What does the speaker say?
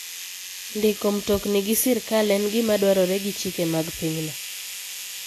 Ndiko mtokni gi sirkal en gima dwarore gi chike mag pinyno.